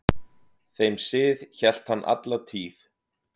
Þeim sið hélt hann alla tíð.